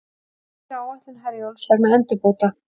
Tafir á áætlun Herjólfs vegna endurbóta